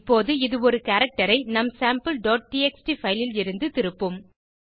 இப்போது இது ஒரு கேரக்டர் ஐ நம் sampleடிஎக்ஸ்டி பைல் லிருந்து திருப்பும்